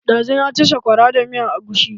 Ɗazu na ci sakwara da miyan agushi.